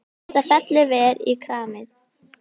Þetta fellur vel í kramið.